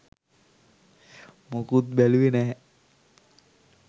මොකුත් බැලුවෙ නෑ